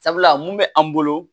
Sabula mun bɛ an bolo